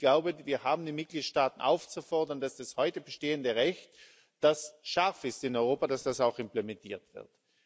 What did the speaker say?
Ich glaube, wir haben die Mitgliedstaaten aufzufordern, dass das heute bestehende Recht, das scharf ist in Europa, dass das auch implementiert wird.